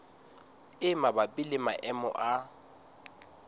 e mabapi le maemo a